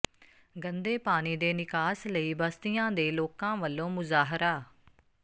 ਗੰਦੇ ਪਾਣੀ ਦੇ ਨਿਕਾਸ ਲਈ ਬਸਤੀਆਂ ਦੇ ਲੋਕਾਂ ਵੱਲੋਂ ਮੁਜ਼ਾਹਰਾ